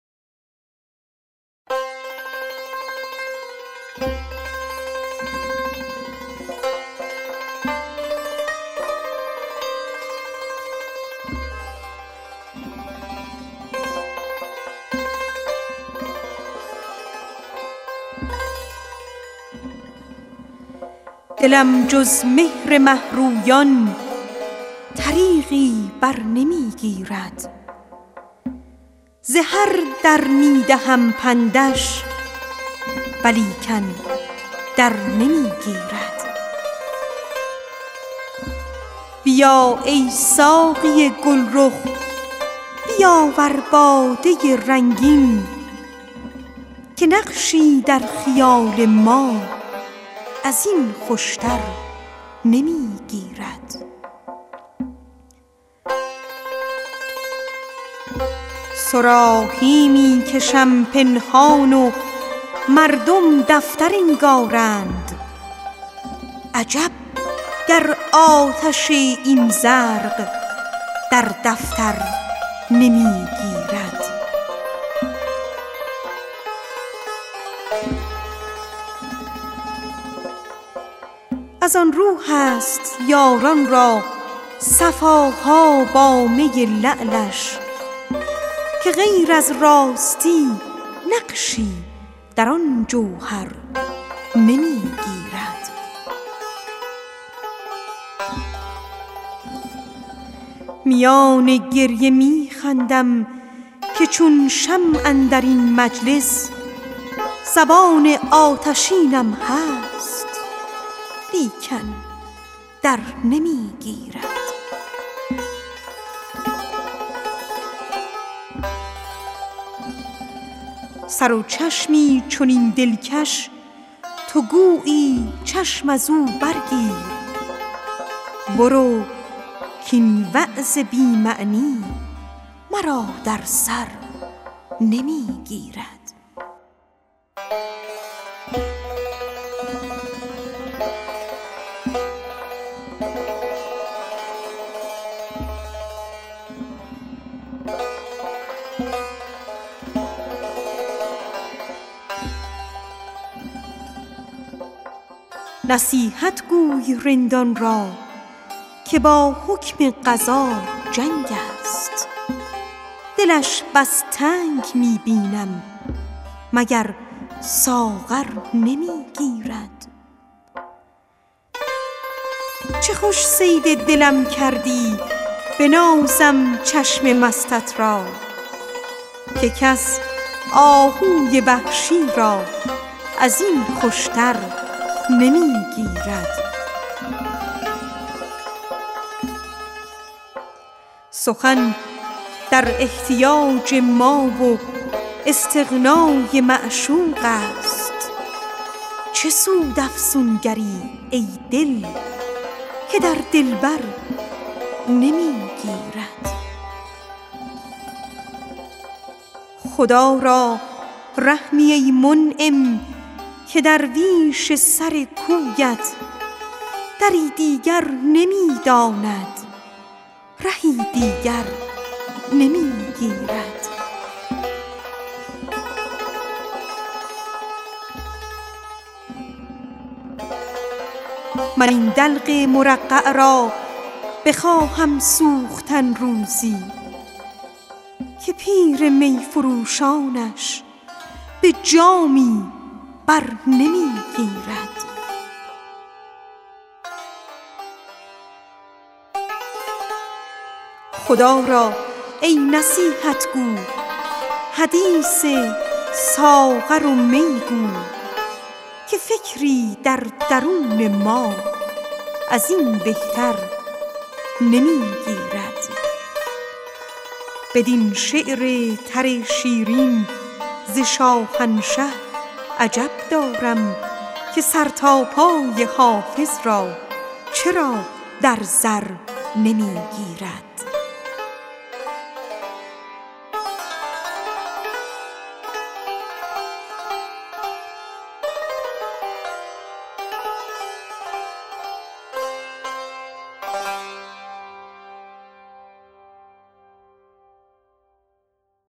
دلم جز مهر مه رویان طریقی بر نمی گیرد ز هر در می دهم پندش ولیکن در نمی گیرد خدا را ای نصیحت گو حدیث ساغر و می گو که نقشی در خیال ما از این خوش تر نمی گیرد بیا ای ساقی گل رخ بیاور باده رنگین که فکری در درون ما از این بهتر نمی گیرد صراحی می کشم پنهان و مردم دفتر انگارند عجب گر آتش این زرق در دفتر نمی گیرد من این دلق مرقع را بخواهم سوختن روزی که پیر می فروشانش به جامی بر نمی گیرد از آن رو هست یاران را صفا ها با می لعلش که غیر از راستی نقشی در آن جوهر نمی گیرد سر و چشمی چنین دلکش تو گویی چشم از او بردوز برو کاین وعظ بی معنی مرا در سر نمی گیرد نصیحتگو ی رندان را که با حکم قضا جنگ است دلش بس تنگ می بینم مگر ساغر نمی گیرد میان گریه می خندم که چون شمع اندر این مجلس زبان آتشینم هست لیکن در نمی گیرد چه خوش صید دلم کردی بنازم چشم مستت را که کس مرغان وحشی را از این خوش تر نمی گیرد سخن در احتیاج ما و استغنا ی معشوق است چه سود افسونگر ی ای دل که در دلبر نمی گیرد من آن آیینه را روزی به دست آرم سکندر وار اگر می گیرد این آتش زمانی ور نمی گیرد خدا را رحمی ای منعم که درویش سر کویت دری دیگر نمی داند رهی دیگر نمی گیرد بدین شعر تر شیرین ز شاهنشه عجب دارم که سر تا پای حافظ را چرا در زر نمی گیرد